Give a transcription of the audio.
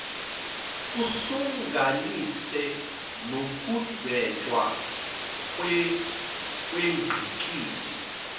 kuhlanganise nokudwetshwa kwengqikithi